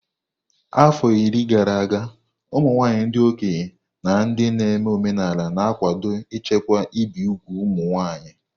Afọ iri gara aga, ụmụ nwanyị ndị okenye na ndị na-eme omenala na-akwado ichekwa ibi úgwù ụmụ nwanyị.